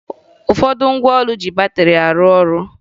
Ụfọdụ ngwa ụlọ ji batịrị arụ ọrụ